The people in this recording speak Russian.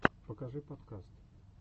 покажи подкаст